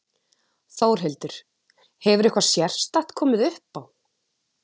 Þórhildur: Hefur eitthvað sérstakt komið upp á?